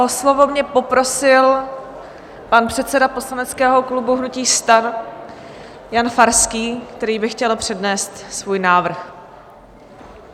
O slovo mě poprosil pan předseda poslaneckého klubu hnutí STAN Jan Farský, který by chtěl přednést svůj návrh.